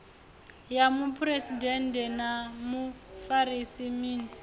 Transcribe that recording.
ya muphuresidennde na mufarisa minis